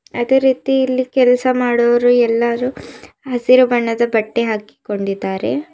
ಅದೇ ರೀತಿ ಇಲ್ಲಿ ಕೆಲ್ಸ ಮಾಡುವವರು ಎಲ್ಲಾರು ಹಸಿರು ಬಣ್ಣದ ಬಟ್ಟೆ ಹಾಕಿಕೊಂಡಿದ್ದಾರೆ.